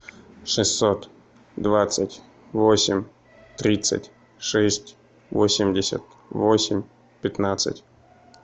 шестьсот двадцать восемь тридцать шесть восемьдесят восемь пятнадцать